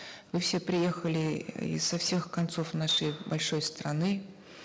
вы все приехали изо всех концов нашей большой страны